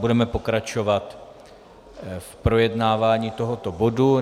Budeme pokračovat v projednávání tohoto bodu.